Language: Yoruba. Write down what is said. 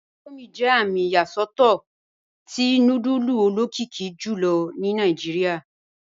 Indomie jẹ amì iyasọtọ̀tọ́ tí núdùlù olokìkì jùlọ̀ ní Nàìjíríà